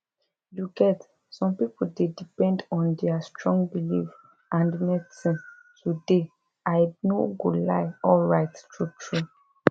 you get some people dey depend on their strong belief and medicine to dey i no go lie alright truetrue